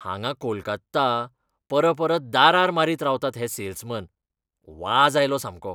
हांगा कोलकात्ता परपरत दारार मारीत रावतात हे सेल्समॅन. वाज आयलो सामको.